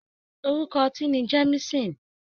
Orúkọ ọtí ni Jemisin.